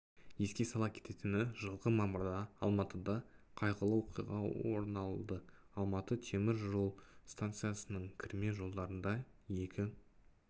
еске сала кететіні жылғы мамырда алматыда қайғылы оқиға орыналды алматы темір жол станциясының кірме жолдарында екі